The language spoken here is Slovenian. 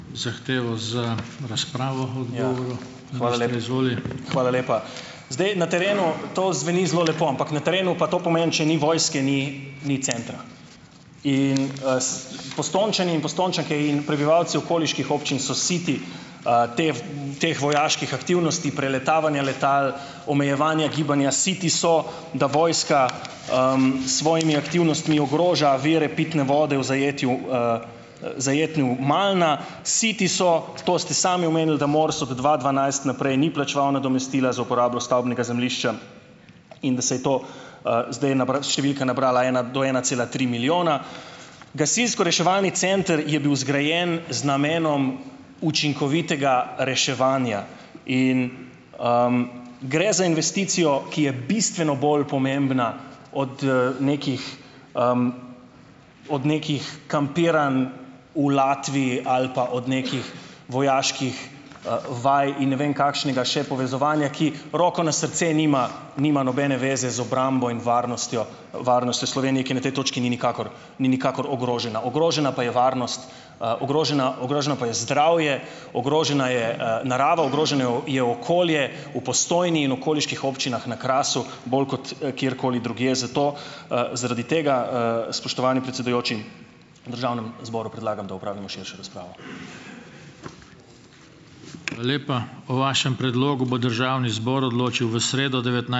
Hvala lepa. Zdaj, na terenu to zveni zelo lepo. Ampak na terenu pa to pomeni - če ni vojske, ni ni centra. In, Postojnčani in Postojnčanke in prebivalci okoliških občin so siti, tev teh vojaških aktivnosti, preletavanja letal, omejevanja gibanja. Siti so, da vojska, s svojimi aktivnostmi ogroža vire pitne vode v zajetju, zajetju Gmajne. Siti so - to ste sami omenili, da MORS od dva dvanajst naprej ni plačeval nadomestila za uporabo stavbnega zemljišča in da se je to, - zdaj, številka nabrala ena do ena cela tri milijona. Gasilsko-reševalni center je bil zgrajen z namenom učinkovitega reševanja. In gre za investicijo, ki je bistveno bolj pomembna od, nekih od nekih kampiranj v Latviji ali pa od nekih vojaških, vaj in ne vem kakšnega še povezovanja, ki - roko na srce - nima nima nobene zveze z obrambo in varnostjo varnostjo Slovenije. Ki na tej točki ni nikakor ni nikakor ogrožena. Ogrožena pa je varnost, - ogrožena ogroženo pa je zdravje, ogrožena je, narava, ogroženo je okolje v Postojni in okoliških občinah na Krasu bolj kot, kjerkoli drugje. Zato, - zaradi tega, spoštovani predsedujoči, državnem zboru predlagam, da opravimo širšo razpravo.